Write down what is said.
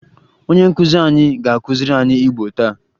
Onye nkụzi anyị ga-akụziri anyị Igbo taa